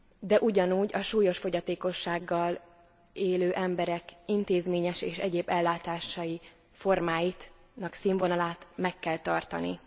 De ugyanúgy a súlyos fogyatékossággal élő emberek intézményes és egyéb ellátási formáinak színvonalát meg kell tartani.